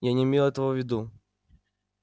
я не имел этого в виду